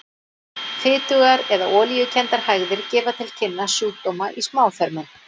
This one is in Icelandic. Fitugar eða olíukenndar hægðir gefa til kynna sjúkdóma í smáþörmum.